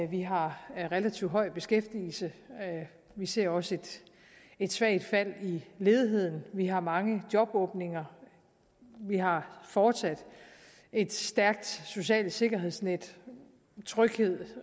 vi har en relativt høj beskæftigelse vi ser også et svagt fald i ledigheden vi har mange jobåbninger vi har fortsat et stærkt socialt sikkerhedsnet tryghed